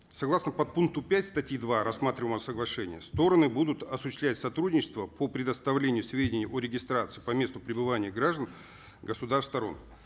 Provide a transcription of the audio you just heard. согласно подпункту пять статьи два рассматриваемого соглашения стороны будут осуществлять сотрудничество по предоставлению сведений о регистрации по месту прибывания граждан